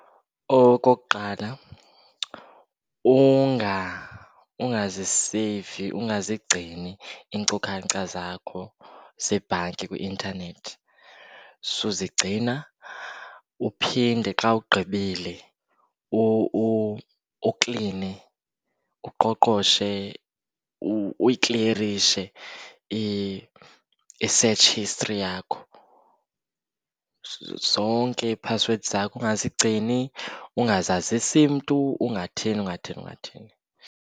Okokuqala, ungaziseyivi ungazigcini iinkcukacha zakho zebhanki kwi-intanethi, suzigcina. Uphinde xa ugqibile ukline, uqoqoshe, uyikliyerishe i-search history yakho. Zonke ii-passwords zakho ungazigcini, ungazazisi mntu, ungathini, ungathini, ungathini.